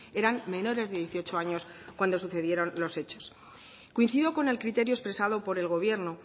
eran menores de dieciocho años cuando sucedieron los hechos coincido con el criterio expresado por el gobierno